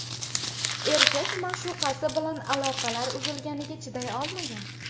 Erkak ma’shuqasi bilan aloqalar uzilganiga chiday olmagan.